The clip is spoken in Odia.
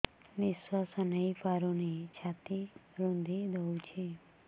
ନିଶ୍ୱାସ ନେଇପାରୁନି ଛାତି ରୁନ୍ଧି ଦଉଛି